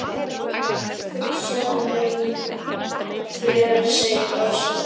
Hugsaðu þér segir Ása.